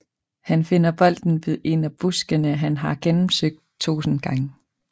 Han finder bolden ved en af buskene han har gennemsøgt tusind gange